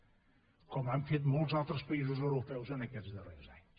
com han fet molts altres països europeus en aquests darrers anys